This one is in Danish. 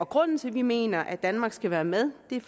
grunden til at vi mener at danmark skal være med er